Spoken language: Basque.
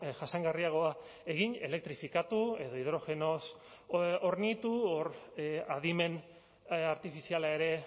jasangarriagoa egin elektrifikatu edo hidrogenoz hornitu hor adimen artifiziala ere